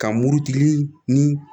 Ka murutigi ni